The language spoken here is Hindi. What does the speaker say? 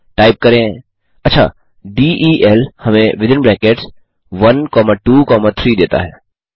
टाइप करें del हमें 123 देता है